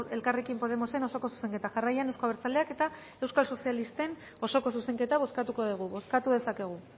elkarrekin podemosen osoko zuzenketa jarraian euzko abertzaleak eta euskal sozialisten osoko zuzenketa bozkatuko dugu bozkatu dezakegu